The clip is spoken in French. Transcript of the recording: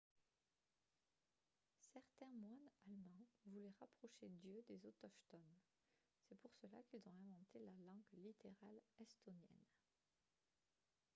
certains moines allemands voulaient rapprocher dieu des autochtones ; c’est pour cela qu’ils ont inventé la langue littérale estonienne